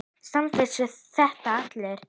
Samt vissu þetta allir.